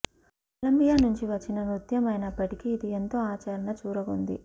Colombia నుంచి వచ్చిన నృత్యం అయినప్పటికీ ఇది ఎంతో ఆదరణ చూరగొంది